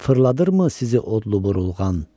Fırladırmı sizi odlu burulğan?